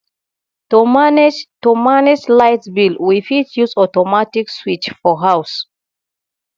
to manage to manage light bill we fit use automatic switch for house